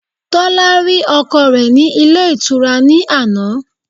Tólá rí ọkọ re ní Ilé Ìtura ní àná